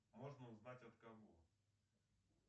можно узнать от кого